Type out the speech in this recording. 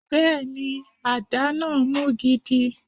Bẹẹni, adá náà mú gidi.